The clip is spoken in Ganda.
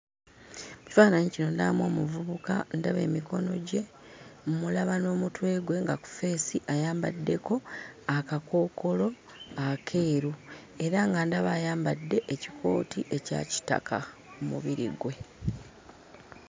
Mu kifaananyi kino ndabamu omuvubuka, ndaba emikono gye, mmulaba n'omutwe gwe nga ku ffeesi ayambaddeko akakookolo akeeru era nga ndaba ayambadde ekikooti ekya kitaka ku mubiri gwe.